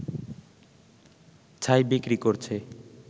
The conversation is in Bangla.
ছাই বিক্রি করছে